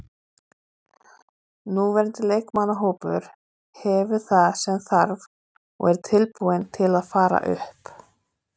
Núverandi leikmannahópur hefur það sem þarf og er tilbúinn til að fara upp.